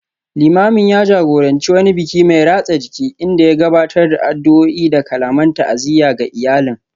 Limamin ya jagoranci wani biki mai ratsa jiki, inda ya gabatar da addu’o’i da kalaman ta’aziyya ga iyalin